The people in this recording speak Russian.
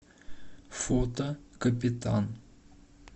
фото капитан